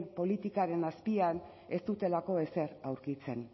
politikaren azpian ez dutelako ezer aurkitzen